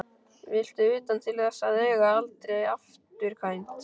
Viltu utan til þess að eiga aldrei afturkvæmt?